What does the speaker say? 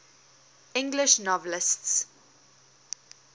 english novelists